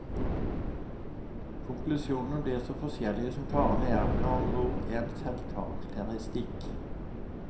Konklusjonene blir så forskjellige som karene er, med andre ord en selvkarakteristikk.